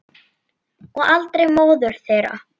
Og aldrei móður þeirra.